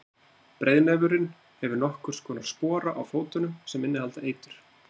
Breiðnefurinn hefur nokkurs konar spora á fótunum sem innihalda eitur.